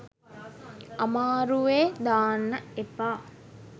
අමාරුවෙ දාන්න එපා